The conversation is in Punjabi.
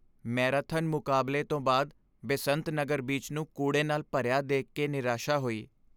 ਮੈਰਾਥਨ ਮੁਕਾਬਲੇ ਤੋਂ ਬਾਅਦ ਬੇਸੰਤ ਨਗਰ ਬੀਚ ਨੂੰ ਕੂੜੇ ਨਾਲ ਭਰਿਆ ਦੇਖ ਕੇ ਨਿਰਾਸ਼ਾ ਹੋਈ।